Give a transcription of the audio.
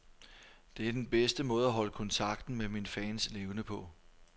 Det er den bedste måde at holde kontakten med mine fans levende på.